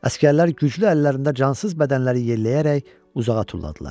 Əsgərlər güclü əllərində cansız bədənləri yelləyərək uzağa tulladılar.